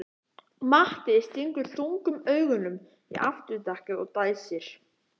Matti stingur þungum augunum í afturdekkið og dæsir.